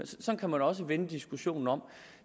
sådan kan man også vende diskussionen om